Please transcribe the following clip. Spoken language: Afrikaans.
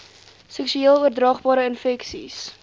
seksueel oordraagbare infeksies